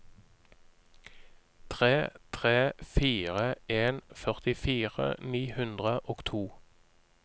tre tre fire en førtifire ni hundre og to